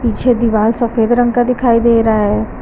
पीछे दीवाल सफेद रंग का दिखाई दे रहा है।